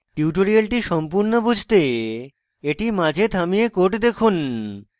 tutorial সম্পূর্ণ বুঝতে এটি মাঝে থামিয়ে code দেখুন